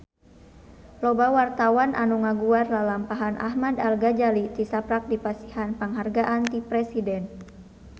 Loba wartawan anu ngaguar lalampahan Ahmad Al-Ghazali tisaprak dipasihan panghargaan ti Presiden